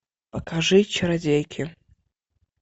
покажи чародейки